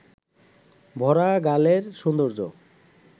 ভরা গালের সৌন্দর্য